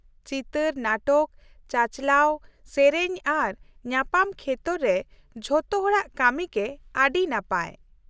ᱪᱤᱛᱟᱹᱨ ᱱᱟᱴᱚᱠ, ᱪᱟᱪᱟᱞᱟᱣ, ᱥᱮᱹᱨᱮᱹᱧ ᱟᱨ ᱧᱟᱯᱟᱢ ᱠᱷᱮᱛᱚᱨ ᱨᱮ ᱡᱚᱛᱚ ᱦᱚᱲᱟᱜ ᱠᱟᱹᱢᱤ ᱜᱮ ᱟᱹᱰᱤ ᱱᱟᱯᱟᱭ ᱾